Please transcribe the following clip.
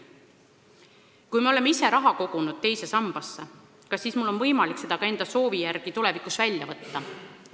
Ja kui me oleme ise raha kogunud teise sambasse, kas mul on võimalik see ka enda soovi järgi tulevikus välja võtta?